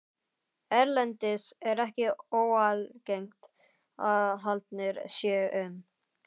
Erlendis er ekki óalgengt að haldnir séu um